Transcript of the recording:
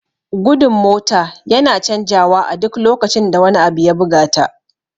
Gudun mota yana canja wa a duk lokacin da wani abu ya buga ta